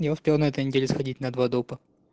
ну успею на этой неделе сходить на два дота